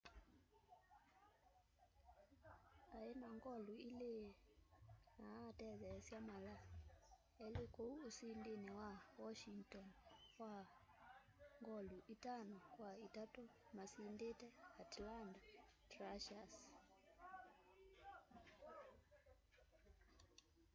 aĩ na ngolu ili na atetheesya mala elĩ kũu usindini wa washĩngton wa ngolu itano kwa itatũ masindite atlanta thrashers